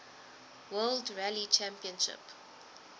world rally championship